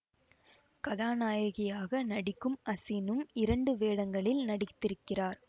கதாநாயகியாக நடிக்கும் அசினும் இரண்டு வேடங்களில் நடித்திருக்கிறார்